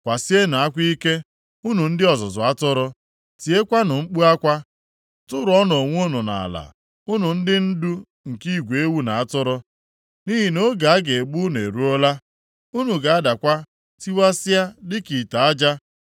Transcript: Kwasienụ akwa ike, unu ndị ọzụzụ atụrụ, tiekwanụ mkpu akwa; tụrụọnụ onwe unu nʼala, unu ndị ndu nke igwe ewu na atụrụ. Nʼihi na oge a ga-egbu unu eruola, unu ga-adakwa tiwasịa dịka ite aja.